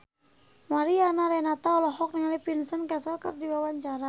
Mariana Renata olohok ningali Vincent Cassel keur diwawancara